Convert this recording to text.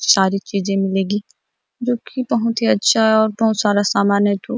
सारे चीजे मिलेगी जो की बहुत ही अच्छा है बहुत सारा सामान है तो--